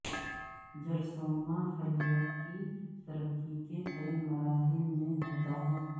جرثومہ خلیات کی ترقی کے کئی مراحل میں ہوتا ہے